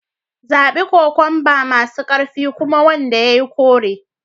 Zabi kokwamba masu ƙarfi kuma wanda ya yi kore